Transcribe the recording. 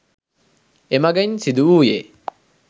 එමගින් සිදුවූයේ